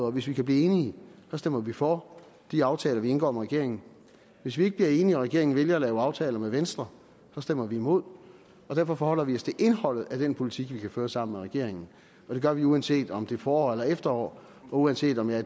og hvis vi kan blive enige så stemmer vi for de aftaler vi indgår med regeringen hvis vi ikke bliver enige regeringen vælger at lave aftaler med venstre stemmer vi imod derfor forholder vi os til indholdet i den politik vi kan føre sammen med regeringen og det gør vi uanset om det er forår eller efterår og uanset om jeg